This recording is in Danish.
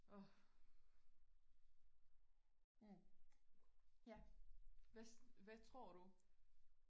åh ja hvad hvad tror du